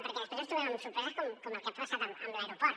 perquè després ens trobem amb sorpreses com el que ha passat amb l’aeroport